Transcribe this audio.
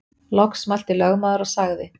Loks mælti lögmaður og sagði